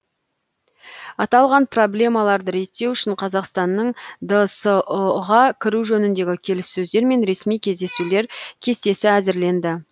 аталған проблемаларды реттеу үшін қазақстанның дсұ ға кіру жөніндегі келіссөздер мен ресми кездесулер кестесі әзірленді